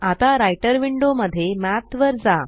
आता writer window मध्ये math वर जा